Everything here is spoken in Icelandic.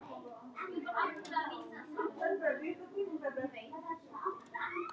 Grætur þurrum tárum.